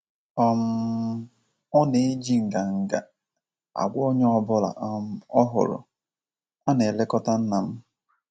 um Ọ na - eji nganga agwa onye ọ bụla um ọ hụrụ: ‘ ana elekọta nna m! ’